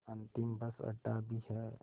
अंतिम बस अड्डा भी है